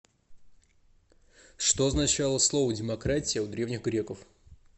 что означало слово демократия у древних греков